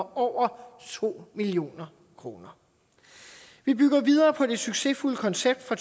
over to million kroner vi bygger videre på det succesfulde koncept fra